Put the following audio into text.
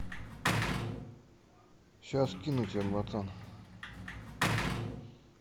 сейчас скину тебе братан